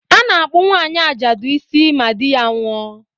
A na-akpụ nwaanyi ajadụ isi ma di ya nwụọ